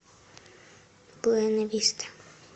буэнависта